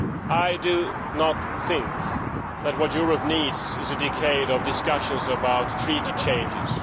I do not think that what Europe needs is a decade of discussions about treaty changes.